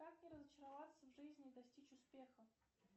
как не разочароваться в жизни и достичь успеха